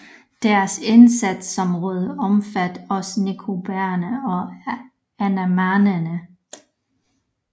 Deres indsatsområde omfattede også Nicobarerne og Andamanerne